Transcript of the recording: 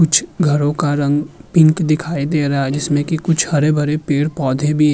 कुछ घरों का रंग पिंक दिखाई दे रहा है जिसमें कि कुछ हरे-भरे पेड़-पौधे भी --